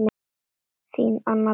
Þín, Anna Björg.